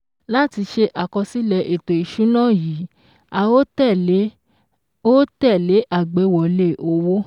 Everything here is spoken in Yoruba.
Láti ṣe àkọsílẹ̀ ètò ìṣúná yìí a òó tẹ̀lé òó tẹ̀lé àgbéwọlé owó